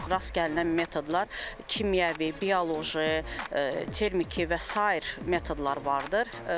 Çox rast gəlinən metodlar kimyəvi, bioloji, termiki və sair metodlar vardır.